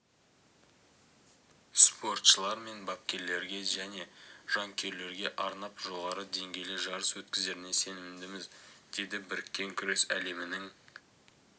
спортшылар мен бапкерлерге және жанкүйерлерге арнап жоғары деңгейлі жарыс өткізеріне сенімдіміз деді біріккен күрес әлемінің